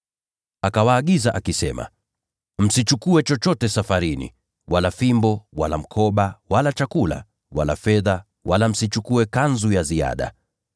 Akawaagiza akisema, “Msichukue chochote safarini: sio fimbo, wala mkoba, wala mkate, wala fedha, hata msichukue kanzu ya ziada.